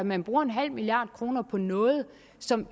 man bruger nul milliard kroner på noget som